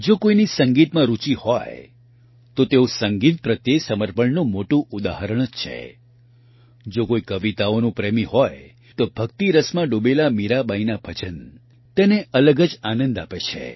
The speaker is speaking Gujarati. જો કોઇની સંગીતમાં રૂચિ હોય તો તેઓ સંગીત પ્રત્યે સમર્પણનું મોટું ઉદાહરણ જ છે જો કોઇ કવિતાઓનાં પ્રેમી હોય તો ભક્તિરસમાં ડૂબેલા મીરાબાઇના ભજન તેને અલગ જ આનંદ આપે છે